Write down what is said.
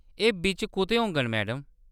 एह्‌‌ बिच्च कुतै होङन, मैडम।